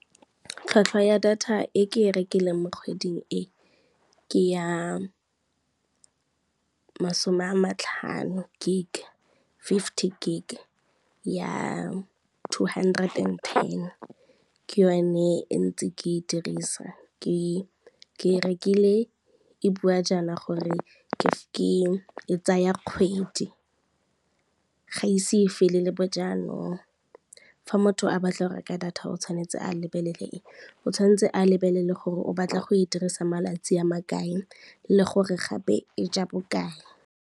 Tlhwatlhwa ya data e ke e rekileng mo kgweding e ke ya masome a matlhano gig, fifty gig ya two hundred and ten ke yone e ntse ke e dirisa, ke e rekile e bua jaana gore e tsaya kgwedi, ga ise fele le bo jaanong. Fa motho a batla go reka ka data o tshwanetse a lebelele eng, o tshwanetse a lebelele gore o batla go e dirisa malatsi a ma kae le gore gape e ja bokae.